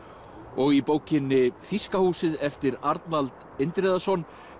og í bókinni Þýska húsið eftir Arnald Indriðason